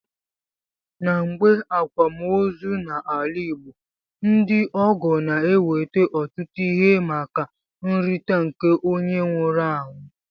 Na mgbe akwam ozi na ala igbo, ndi ọgọ na eweta otụtu ihe maka nrita nke onye nwuru anwụ.